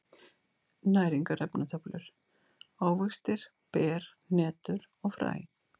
Næringarefnatöflur: Ávextir, ber, hnetur og fræ.